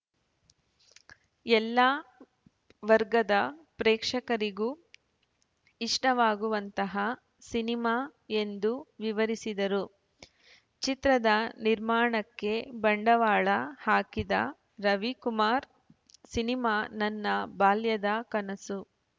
ಎಲ್ಲಾ ವರ್ಗದ ಪ್ರೇಕ್ಷಕರಿಗೂ ಇಷ್ಟವಾಗುವಂತಹ ಸಿನಿಮಾ ಎಂದು ವಿವರಿಸಿದರು ಚಿತ್ರದ ನಿರ್ಮಾಣಕ್ಕೆ ಬಂಡವಾಳ ಹಾಕಿದ ರವಿ ಕುಮಾರ್‌ ಸಿನಿಮಾ ನನ್ನ ಬಾಲ್ಯದ ಕನಸು